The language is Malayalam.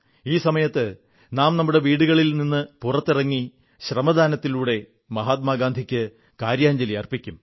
ഈ സമയത്ത് നാം നമ്മുടെ വീടുകളിൽ നിന്ന് പുറത്തിറങ്ങി ശ്രമദാനത്തിലൂടെ മഹാത്മാഗാന്ധിക്ക് കാര്യാഞ്ജലി അർപ്പിക്കും